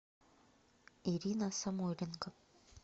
ирина самойленко